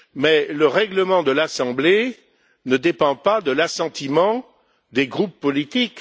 Or, le règlement de l'assemblée ne dépend pas de l'assentiment des groupes politiques.